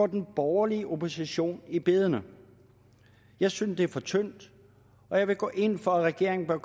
den borgerlige opposition i bedene jeg synes det er for tyndt og jeg går ind for at regeringen bør